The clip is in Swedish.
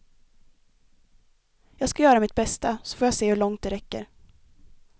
Jag ska göra mitt bästa, så får jag se hur långt det räcker.